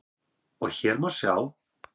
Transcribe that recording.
og hér má sjá